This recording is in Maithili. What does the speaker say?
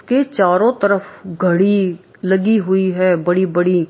के चारो तरफ घड़ी लगी हुई है बड़ी-बड़ी।